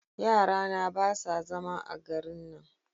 yara na ba su zama a garin nan